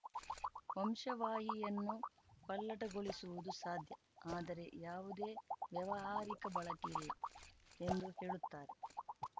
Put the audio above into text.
ವಂಶವಾಹಿಯನ್ನು ಪಲ್ಲಟಗೊಳಿಸುವುದು ಸಾಧ್ಯ ಆದರೆ ಯಾವುದೇ ವ್ಯಾವಹಾರಿಕ ಬಳಕೆ ಇಲ್ಲ ಎಂದು ಹೇಳುತ್ತಾರೆ